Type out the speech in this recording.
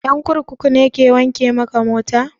Ƴan kurkuku ne ke wanke maka mota?